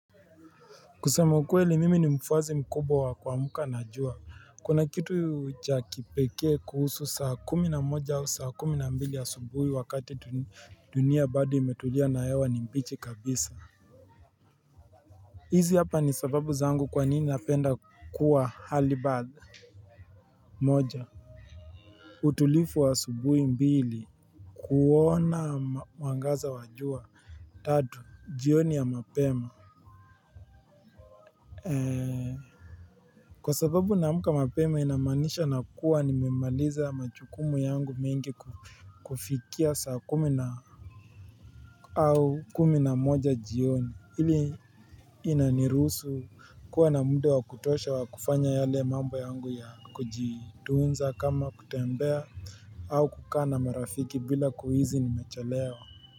Kusema ukweli mimi ni mfuasi mkubwa wa kuamka na jua, kuna kitu cha kipekee kuhusu saa kumi na mmoja au saa kumi na mbili asubuhi wakati dunia bado imetulia na hewa ni mbichi kabisa. Izi hapa ni sababu zangu kwa nini napenda kuwa halibadha moja utulivu wa asubuhi mbili kuona mwangaza wa jua tatu, jioni ya mapema. Kwa sababu naamka mapema inamaanisha nakuwa nimemaliza majukumu yangu mingi kufikia saa kumi na au kumi na moja jioni ili inaniruhusu kuwa na muda wa kutosha wa kufanya yale mambo yangu ya kujitunza kama kutembea au kukaa na marafiki bila kuhisi nimechelewa.